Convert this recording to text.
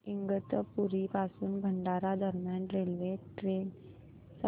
इगतपुरी पासून भंडारा दरम्यान ट्रेन सांगा